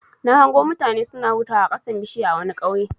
Na hango mutane suna hutawa a ƙasan bishiya a wani ƙauye.